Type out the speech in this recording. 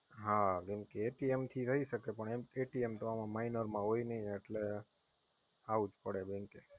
હા, કેમકે થી થાય શકે. પણ તો આમ Minor માં હોય નાઈ એટલે આવવું જ પડે Bank એ.